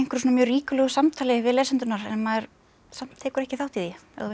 ríkulegu samtali við lesendurna en maður samt tekur ekki þátt í því ef þú veist hvað